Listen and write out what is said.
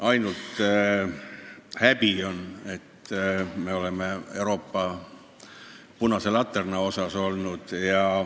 Ainult häbi on, et me oleme Euroopas punase laterna osas olnud.